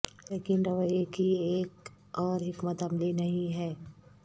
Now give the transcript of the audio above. لیکن رویے کی ایک اور حکمت عملی نہیں ہے